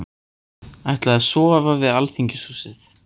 Ætla að sofa við Alþingishúsið